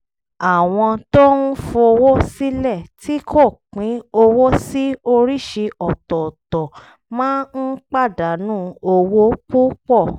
àwọn tó ń fowó sílẹ̀ tí kò pín owó sí oríṣi ọ̀tọ̀ọ̀tọ̀ máa ń pàdánù owó púpọ̀